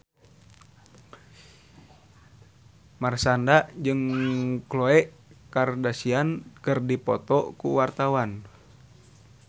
Marshanda jeung Khloe Kardashian keur dipoto ku wartawan